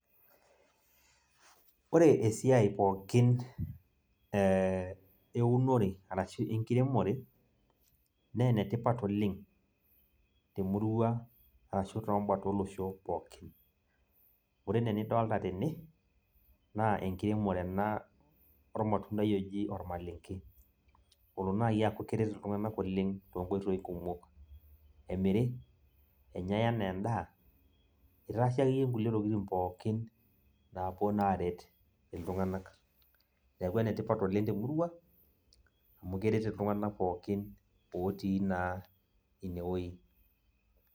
Ore esiai pookin eunore arashu enkiremore, ne enetipat oleng, temurua, arashu tobat olosho pookin. Ore enaa enidolta tene, naa enkiremore ena ormatuntai oji ormalenke. Olo nai aku keret iltung'anak oleng tonkoitoi kumok. Emiri, enyai enaa endaa, itaasi akeyie nkulie tokiting pookin napuo naa aret iltung'anak. Neeku enetipat oleng temurua, amu keret iltung'anak pookin, otii naa inewoi.